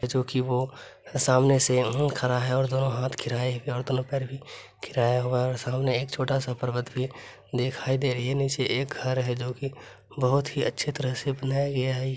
जो कि वो सामने से अम्म खड़ा है और दोनों हाथ खिराए और दोनों पैर भी खिराया हुआ है सामने एक छोटा सा पर्वत भी दिखाई दे रही है नीचे एक घर है जो की बहुत ही अच्छे तरह से बनाया गया है।